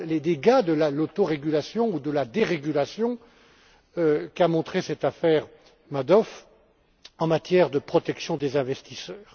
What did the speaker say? dégâts de l'autorégulation ou de la dérégulation, qu'a montrés cette affaire Madoff en matière de protection des investisseurs.